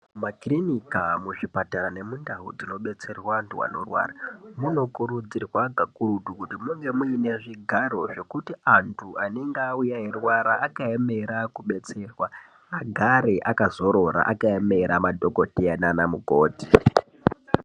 Mumakirinika, muzvipatara nemundau dzinobetserwa antu anorwara munokurudzirwa kakurutu kuti munge muine zvigwaro zvekuti antu anenge auya eirwara akaemera kudetserwa agare akazorora akaemera madhokodheya nana mukoti.